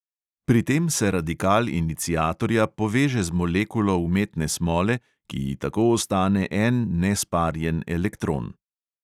Pri tem se radikal iniciatorja poveže z molekulo umetne smole, ki ji tako ostane en nesparjen elektron.